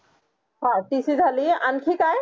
हां tc आणखी काय